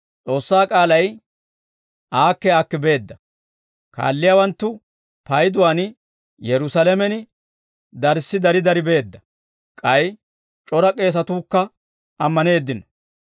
S'oossaa k'aalay aakki aakki beedda; kaalliyaawanttu payduwaan Yerusaalamen darssi dari dari beedda; k'ay c'ora k'eesatuukka ammaneeddino.